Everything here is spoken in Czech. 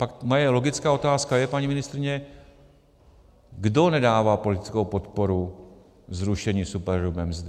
Pak moje logická otázka je, paní ministryně - kdo nedává politickou podporu zrušení superhrubé mzdy?